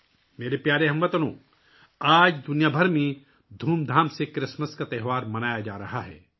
میرے پیارے ہم وطنو، آج کرسمس کا تہوار بھی پوری دنیا میں بڑی دھوم دھام سے منایا جا رہا ہے